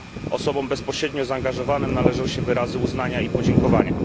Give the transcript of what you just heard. Osobom bezpośrednio zaangażowanym należą się wyrazy uznania i podziękowania.